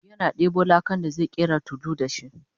yana ɗebo lakan da zai ƙera tulu da shi